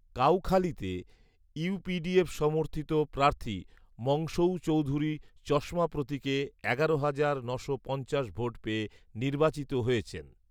কাউখালীতে UPDF সমর্থিত প্রার্থী মংসুউ চৌধুরী চশমা প্রতীকে এগারো হাজার নশো পঞ্চাশ ভোট পেয়ে নির্বাচিত হয়েছেন